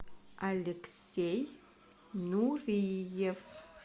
алексей нуриев